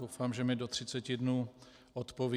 Doufám, že mi do 30 dnů odpoví.